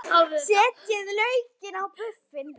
Setjið laukinn á buffin.